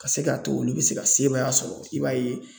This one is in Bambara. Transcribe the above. Ka se k'a to olu bɛ se ka sebaya sɔrɔ i b'a ye.